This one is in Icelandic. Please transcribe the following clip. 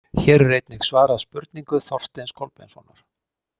Hér er einnig svarað spurningu Þorsteins Kolbeinssonar.